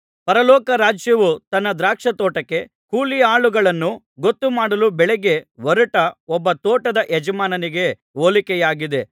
ಪರಲೋಕ ರಾಜ್ಯವು ತನ್ನ ದ್ರಾಕ್ಷಾತೋಟಕ್ಕೆ ಕೂಲಿಯಾಳುಗಳನ್ನು ಗೊತ್ತುಮಾಡಲು ಬೆಳಗ್ಗೆ ಹೊರಟ ಒಬ್ಬ ತೋಟದ ಯಜಮಾನನಿಗೆ ಹೋಲಿಕೆಯಾಗಿದೆ